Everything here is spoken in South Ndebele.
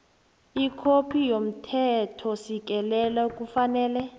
ikhophi yomthethosisekelo kufanele